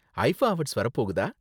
IIFA awards வர போகுதா?